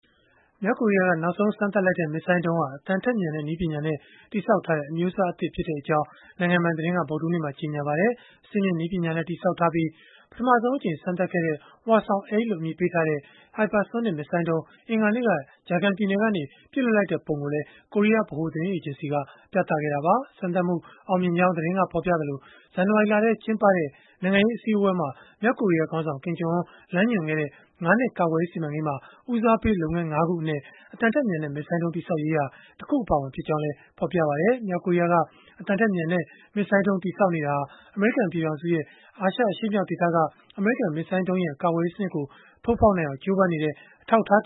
မြောက်ကိုရီးယားက နောက်ဆုံး စမ်းသပ်လိုက်တဲ့ မစ်ဇိုင်းဒုံးဟာ အသံထက်မြန်တဲ့ နည်းပညာနဲ့ တည်ဆောက်ထားတဲ့ အမျိုးအစားသစ် ဖြစ်ကြောင်း နိုင်ငံပိုင် သတင်းက ဗုဒ္ဓဟူးနေ့မှာ ကြေညာပါတယ်။ အဆင့်မြင့်နည်းပညာနဲ့ တည်ဆောက်ထားပြီး ပထမဆုံးအကြိမ် စမ်းသပ်ခဲ့တဲ့ Hwasong-8 လို့ အမည်ပေးထားတဲ့ hypersonic မစ်ဇိုင်းဒုံး အင်္ဂါနေ့က Jagang ပြည်နယ်ကနေ ပစ်လွှတ်လိုက်တဲ့ ပုံကိုလည်း ကိုရီးယားဗဟိုသတင်းအေဂျင်စီက ပြသခဲ့တာပါ။ စမ်းသပ်မှုဟာ အောင်မြင်ခဲ့ကြောင်း သတင်းက ဖော်ပြခဲ့သလို၊ ဇန်နဝါရီလထဲ ကျင်းပခဲ့တဲ့ နိုင်ငံရေး အစည်းအဝေးမှာ မြောက်ကိုရီးယားခေါင်းဆောင် Kim Jong Un လမ်းညွှန်ခဲ့တဲ့ ၅ နှစ် ကာကွယ်ရေးစီမံကိန်းမှာ ဦးစားပေး လုပ်ငန်း ၅ ခုအနက် အသံထက်မြန်တဲ့ မစ်ဇိုင်းဒုံး တည်ဆောက်ရေးဟာ တခုအပါအဝင် ဖြစ်ကြောင်းလည်း ဖော်ပြပါတယ်။ မြောက်ကိုရီးယားက အသံထက်မြန်တဲ့ မစ်ဇိုင်းဒုံး တည်ဆောက်နေတာဟာ အမေရိကန် ပြည်ထောင်စုနဲ့ အာရှအရှေ့မြောက် ဒေသက အမေရိကန် မစ်ဇိုင်းဒုံးရန် ကာကွယ်ရေးစနစ်ကို ထိုးဖောက်နိုင်အောင် ကြိုးပမ်းနေတဲ့ အထောက်အထာ